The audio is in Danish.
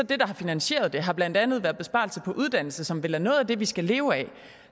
det der har finansieret det blandt andet været besparelser på uddannelse som vel er noget af det vi skal leve af